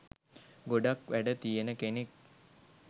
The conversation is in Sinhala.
ගොඩක් වැඩ තියෙන කෙනෙක්.